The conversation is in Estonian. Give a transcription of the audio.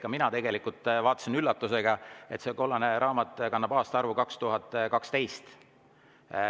Ka mina vaatasin üllatusega, et see kollane raamat kannab aastaarvu 2012.